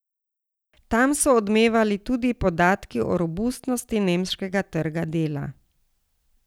Tam so odmevali tudi podatki o robustnosti nemškega trga dela.